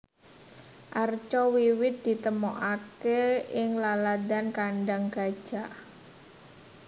Arca wiwit ditemokaké ing laladan Kandang Gajak